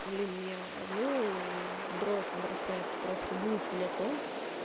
блин меня одну в дрожь бросает просто мысль о том